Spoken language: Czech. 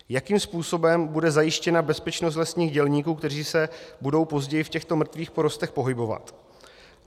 Jakým způsobem bude zajištěna bezpečnost lesních dělníků, kteří se budou později v těchto mrtvých porostech pohybovat?